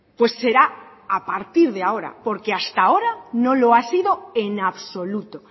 pues será a partir de ahora porque hasta ahora no lo ha sido en absoluto